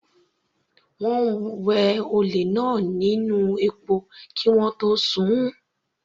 Wọ́n wẹ olè náà nínú epo kí wọ́n tó sun-ùn.